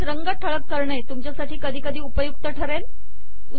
तसेच रंग ठळक करणे तुमच्यासाठी कधी कधी उपयुक्त ठरेल